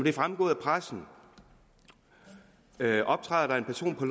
er fremgået af pressen optræder der en person på